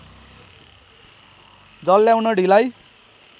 जल ल्याउन ढिलाइ